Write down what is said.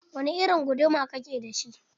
Wani irin guduma ka ke da shi?